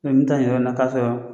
Ne min taa nin yɔrɔ na k'a sɔrɔ